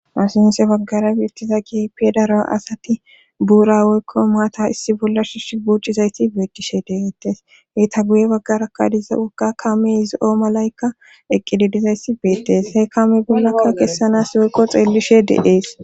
Ha sinthe baggara biittiza keehipee daro asati buura woykko maata issi bolla shush buuccizayti beekishe de7eettes heyta guye baggarakadiza woka kame izi7o malaykka eqqidi dizayssi beettes hee kame bollakka kessanas woykko xeellishe de7ees